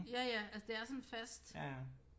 Ja ja altså det er sådan fast